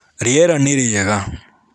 Rĩera nĩ rĩega.